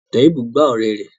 Toheeb gbá ọ̀rẹ́ rẹ̀